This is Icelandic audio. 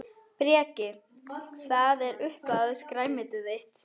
Breki: Hvað er uppáhalds grænmetið þitt?